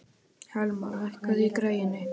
Helma, lækkaðu í græjunum.